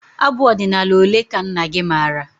Abụ ọdịnala ole ka nna gị maara?